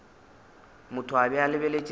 motho a be a lebeletše